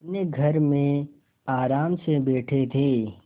अपने घर में आराम से बैठे थे